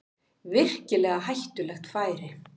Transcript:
Virkilega hættulegt færi